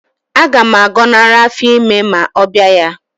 Aga m agọnarị afọ ime ma ọ bịa ya